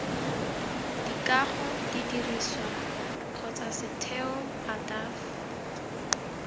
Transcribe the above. dikago didirisiwa kgotsa setheo ataf